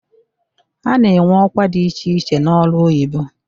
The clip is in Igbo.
A na-enwe ọkwa dị iche iche n'ọrụ oyibo.